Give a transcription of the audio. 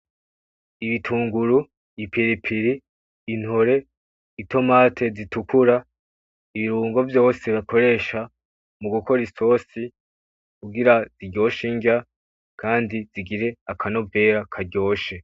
Ibitunguru ipiripiri intore itomati zitukura, ibirungo vyose bakoresha mugukora isosi kugira iryoshe inrya kandi zigire akanovera karyoshe.